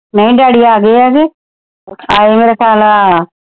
ਨਹੀਂ ਡੈਡੀ ਆ ਗਏ ਆ ਤੇ ਅੱਜ ਖਿਆਲ ਆ।